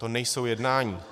To nejsou jednání.